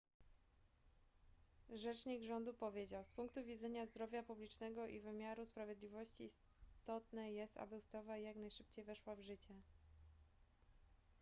rzecznik rządu powiedział z punktu widzenia zdrowia publicznego i wymiaru sprawiedliwości istotne jest aby ustawa jak najszybciej weszła w życie